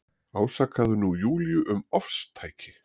Ásakaði nú Júlíu um ofstæki.